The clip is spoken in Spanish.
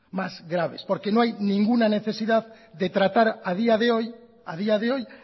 más graves porque no hay ninguna necesidad de tratar a día de hoy a día de hoy